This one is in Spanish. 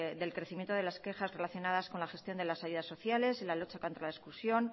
del crecimiento de las quejas relacionadas con la gestión de las ayudas sociales y la lucha contra la exclusión